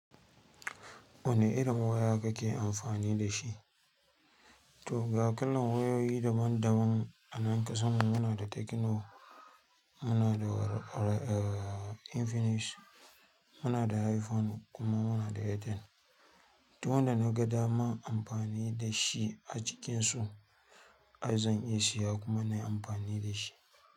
Wane irin waya kake amfani da shi? To ga kallon wayoyi daban-daban a nan ƙasa muna da Techno, muna da Infinix, muna da iPhone kuma muna da Itel. Duk wanda da naga dama amfani da shi a cikinsu, ai zan iya siya kuma na yi amfani da shi.